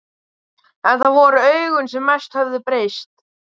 En það voru augun sem mest höfðu breyst.